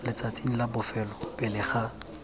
letsatsing la bofelo pele ga